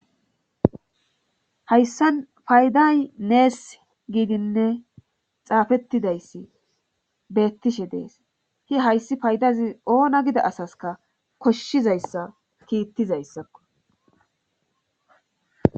hayssan payday nees giidinne xaafettidayssi beettishe dees hi hayssi paydazi oona gida asaska koshshizayssa kiittizayssakko